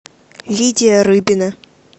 лидия рыбина